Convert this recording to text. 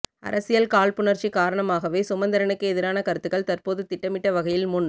அரசியல் காழ்ப்புணர்ச்சி காரணமாகவே சுமந்திரனுக்கு எதிரான கருத்துக்கள் தற்போது திட்டமிட்ட வகையில் முன்